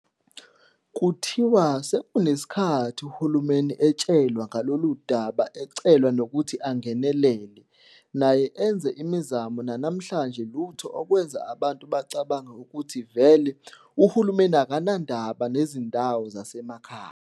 Kuthiwa kunesikhathi uhulumeni etshelwa ngaloludaba ecelwa nokuthi angenelele naye enze imizamo nanamhlanje lutho okwenza abantu bacabange ukuthi vele uhulumeni akanandaba nezindawo zasemakhaya.